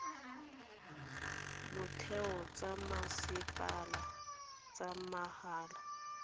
motheo tsa masepala tsa mahala